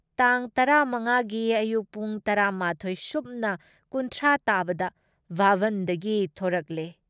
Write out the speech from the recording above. ꯇꯥꯡ ꯇꯔꯥ ꯃꯉꯥꯒꯤ ꯑꯌꯨꯛ ꯄꯨꯡ ꯇꯔꯥ ꯃꯥꯊꯣꯏ ꯁꯨꯞꯅ ꯀꯨꯟꯊ꯭ꯔꯥ ꯇꯥꯕꯗ ꯚꯥꯕꯟꯗꯒꯤ ꯊꯣꯔꯛꯂꯦ ꯫